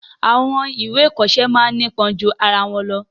Àwọn ìwé ìkoọsẹ́ máa ńipon ju arawọn lọ